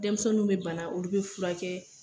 Dɛmisɛnninw be bana olu be furakɛ